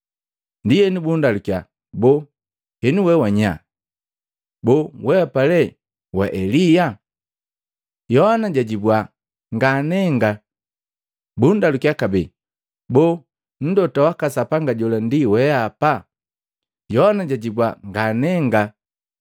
Ndienu bundalukiya, “Boo henu we wanyanye? Boo weapa lee wa Elia?” Yohana jajibua, “Nganenga!” Bundalukiya babe, “Boo Mlota waka Sapanga jola ndi lee weapa?” Yohana jajibua, “Nganenga!”